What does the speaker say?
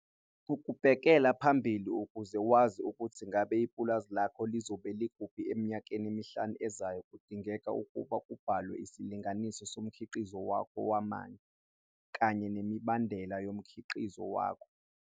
Ukubhekela phambili ukuze wazi ukuthi ngabe ipulazi lakho lizobe likhuphi eminyakeni emihlanu ezayo kudinga ukuba kubalwe isilinganiso somkhiqizo wakho wamanje, kanye nemibandela yomkhiqizo wakho.